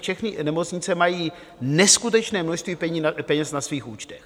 Všechny nemocnice mají neskutečné množství peněz na svých účtech.